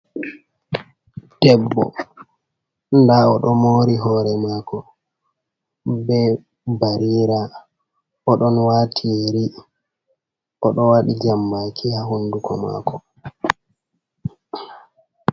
Debbo, nda o ɗo mori hore mako be barira. O ɗon wati yeri, o ɗo waati jambaki ha hunduko mako.